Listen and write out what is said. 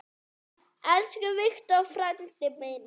Elsku Victor frændi minn.